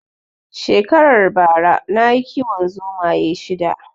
Shekaran bara nayi kiwon zomaye shida